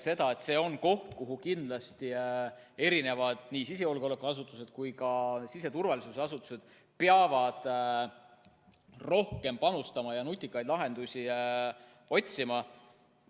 See on koht, kuhu kindlasti nii sisejulgeolekuasutused kui ka siseturvalisuse asutused peavad rohkem panustama ja kus nutikaid lahendusi otsima.